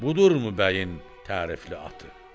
Budurmu bəyin tərifli atı?